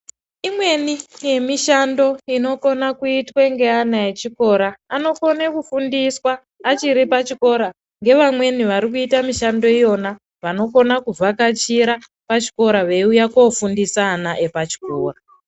Imweni ye mishando inokona kuitwe nge ana echikora anokone ku fundiswa achiri pa chikora nge vamweni vari kuita mishando iyona vanokona ku vhakachira pachikora vei uya ko fundisa ana epa chikora.